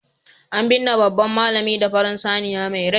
an binne babban malami da farin saniya mai rai